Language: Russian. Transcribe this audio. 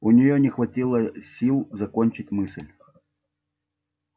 у нее не хватило сил закончить мысль